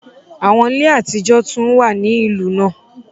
Awọn ile atijọ tun wa ni ilu naa